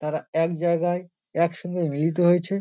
তারা এক জায়গায় এক সঙ্গে মিলিত হয়েছে।